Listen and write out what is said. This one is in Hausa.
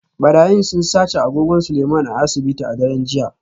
Barayin sun sace agogon Seleiman a asibiti a daren jiya